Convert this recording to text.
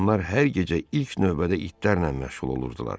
Onlar hər gecə ilk növbədə itlərlə məşğul olurdular.